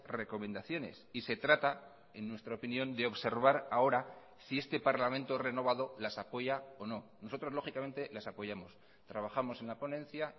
recomendaciones y se trata en nuestra opinión de observar ahora si este parlamento renovado las apoya o no nosotros lógicamente las apoyamos trabajamos en la ponencia